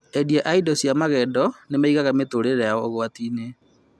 Endia a indo cia magendo nĩmaigaga mĩtũrĩre yao ũgwati-inĩ